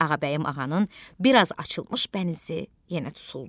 Ağabəyim ağanın bir az açılmış bənizi yenə tutuldu.